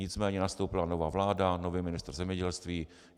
Nicméně nastoupila nová vláda, nový ministr zemědělství.